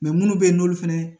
munnu bɛ yen n'olu fɛnɛ